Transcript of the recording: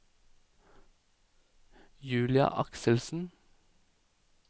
Julia Akselsen